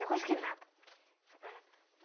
Mesma coisa que nada.